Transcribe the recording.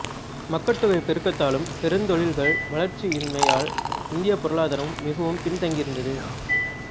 மக்கட்தொகை பெருக்கத்தாலும் பெருந்தொழில்கள் வளர்ச்சியின்மையால் இந்தியப் பொருளாதாரம் மிகவும் பின் தங்கியிருந்தது